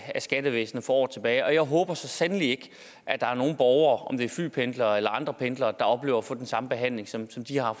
skattevæsenet for år tilbage og jeg håber så sandelig ikke at der er nogen borgere om det er flypendlere eller andre pendlere der oplever at få den samme behandling som som de har